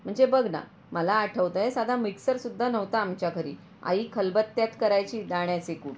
म्हणजे बघना, मला आठवत आहे, साधा मिक्सर सुद्धा नव्हता आमच्या घरी, आई खलबत्त्यात करायची दाण्याचे कूट.